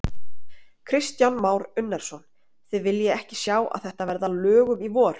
Kristján Már Unnarsson: Þið viljið ekki sjá að þetta verði að lögum í vor?